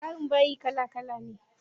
Tsarin bayi kala kala ne.